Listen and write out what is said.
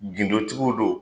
gindo tigiw do